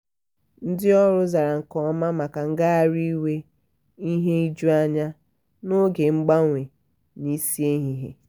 ndị ọrụ zara nke ọma maka ngagharị iwe ihe ijuanya n'oge mgbanwe n'isi ehihie